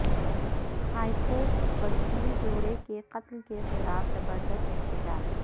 high court وکیل جوڑا کے قتل کے خلاف زبردست احتجاج